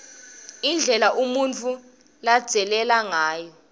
indlela umuntfu ladzaleke ngayo